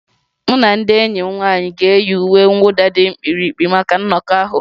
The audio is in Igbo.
Mụ na ndị enyi m nwanyị ga-eyi uwe mwụda dị mkpirikpi maka nnọkọ ahụ